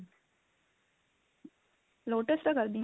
lotus ਦਾ ਕਰਦੀ